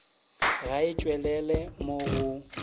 ga e tšwelele mo go